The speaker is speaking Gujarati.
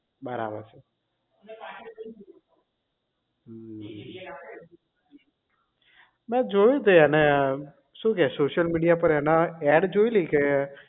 બરાબર છે મેં જોયું તું એને એ શું કહે social media પર એના ad જોઈલી કે